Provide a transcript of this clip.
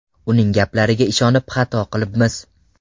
Uning gaplariga ishonib, xato qilibmiz.